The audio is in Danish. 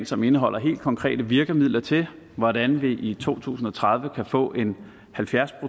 som indeholder helt konkrete virkemidler til hvordan vi i to tusind og tredive kan få en halvfjerds